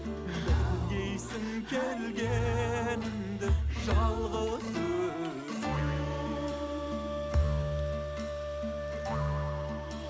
білгейсің келгенімді жалғыз өзім